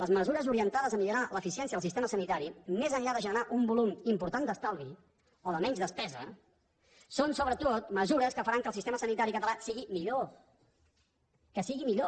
les mesures orientades a millorar l’eficiència del sistema sanitari més enllà de generar un volum important d’estalvi o de menys despesa són sobretot mesures que faran que el sistema sanitari català sigui millor que sigui millor